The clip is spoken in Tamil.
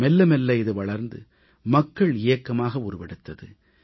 மெல்ல மெல்ல இது வளர்ந்து மக்கள் இயக்கமாக உருவெடுத்தது